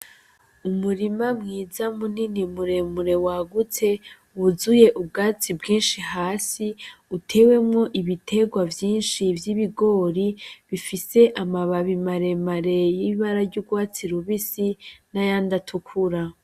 Umurima mwiza munini muremure wagutse wuzuye ubwatsi bwinshi hasi , utewemwo ibiterwa vyinshi vy’ibigori bifise amababi maremare y’ibara ry’urwatsi rubisi n’ayandi atukura.